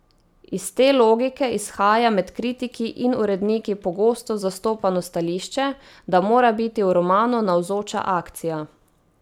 Iz te logike izhaja med kritiki in uredniki pogosto zastopano stališče, da mora biti v romanu navzoča akcija.